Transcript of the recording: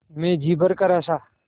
मैं जी भरकर हँसा